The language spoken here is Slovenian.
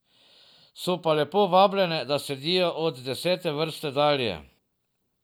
So pa lepo vabljene, da sedijo od desete vrste dalje.